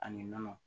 Ani nɔnɔ